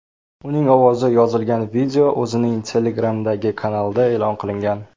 Uning ovozi yozilgan video o‘zining Telegram’dagi kanalida e’lon qilingan .